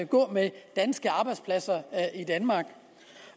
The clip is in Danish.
gå med danske arbejdspladser